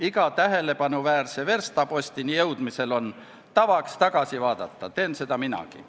Iga tähelepanuväärse verstapostini jõudmisel on tavaks tagasi vaadata, teen seda minagi.